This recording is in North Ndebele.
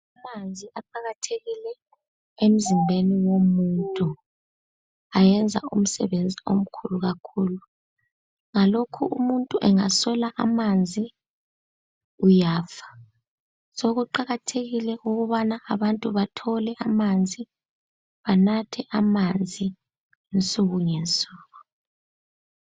Amanzi aqakathekile emzimbeni womuntu ayenza umsebenzi omkhulu kakhulu ngalokho umuntu engaswela amanzi uyafa, sokuqakathekile ukubana abantu bathole amanzi banathe amanzi insukungensuku.